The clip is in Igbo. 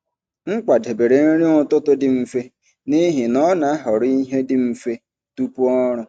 M kwadebere nri ụtụtụ dị mfe n’ihi na ọ na-ahọrọ ihe dị mfe tupu ọrụ.